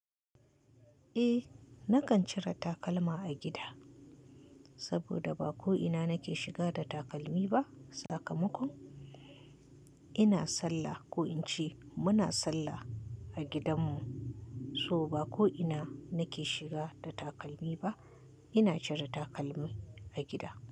Eh, nakan cira tabalma a gida saboda ba ko ina nake shiga da takalmi ba. Sakamakon ina sallah, ko in ce muna sallah a gidanmu, so ba ko ina nake shiga da takalmi ba. Ina cire takalmi a gida.